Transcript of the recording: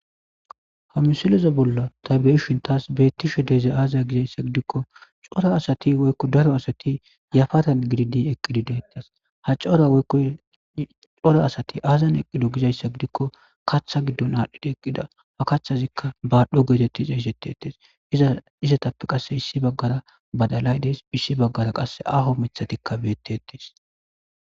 Hamisileza bolla tabe'eshintaas beettishe deeze aaziya gizayssa gidikko cora asati woykko daro asati yafatan gididi eqqidideetas ha craocora asati aazan eqido gizayssa gidikko kaththa giddon aadhdhidi eqqida ha kacthazikka baadhdho geetettisa isetti ettes iza izatappe qasse issi baggara badalay deys issi baggara qasse aho mithatikka beetti ettes